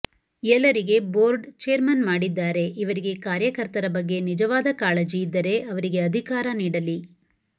ಎಲ್ಲರಿಗೆ board chairman ಮಾಡಿದ್ದಾರೆ ಇವರಿಗೆ ಕಾರ್ಯಕರ್ತರ ಬಗ್ಗೆ ನಿಜವಾದ ಕಾಳಜಿ ಇದ್ದರೆ ಅವರಿಗೆ ಅಧಿಕಾರ ನೀಡಲಿ